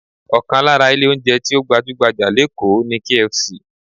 Ọkàn lára ilé oúnjẹ tí ó gbajú-gbajà lékòó ni KFC